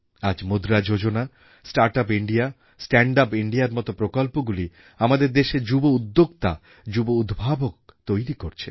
আজ Mudra Yojana startup India standup ইন্ডিয়ার মতো প্রকল্পগুলি আমাদের দেশে যুবউদ্যোক্তা যুবউদ্ভাবক তৈরি করছে